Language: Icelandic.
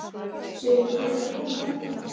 Sérðu hver er að koma þarna?